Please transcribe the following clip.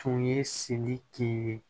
Tun ye sidi ye